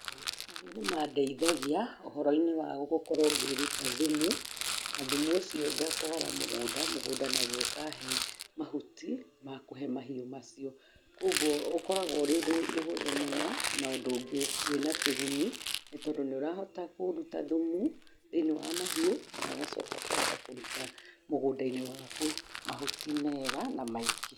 Mahiũ nĩ mandeithagia ũhoro-inĩ wa gũkorwo ngĩruta thumu na thumu ũcio ngatwara mũgũnda, mũgũnda naguo ũkahe mahuti makũhe mahiũ macio koguo ũkoragwo wĩ ũndũ mũhũthũ mũno na ũndũ wĩna kĩguni nĩ tondũ nĩ ũrahota kũruta thumu thĩinĩ wa mahiũ na ũgacoka ũkahota kũruta mũgũnda-inĩ waku mahuti mega na maingĩ.